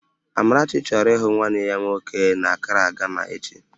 Amarachi chọrọ ịhụ nwanne ya nwoke n'Akraa, Gana echi